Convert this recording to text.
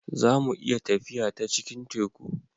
za mu iya tafiya ta cikin Teku